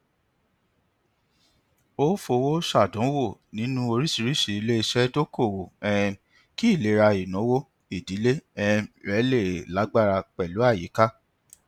ó ó fowó ṣàdánwò nínú oríṣìíríṣìí iléiṣẹ dokoowó um kí ìlera ináwó ìdílé um rẹ lè lágbára pẹlú àyíká